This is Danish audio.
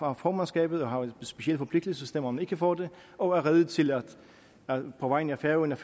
har formandskabet og har en speciel forpligtelse stemmer man ikke for det og er rede til på vegne af færøerne